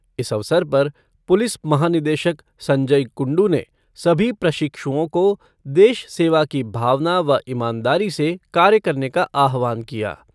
इस अवसर पर पुलिस महानिदेशक संजय कुंडु ने सभी प्रशिक्षुओं को देश सेवा की भावना व ईमानदारी से कार्य करने का आह्वान किया।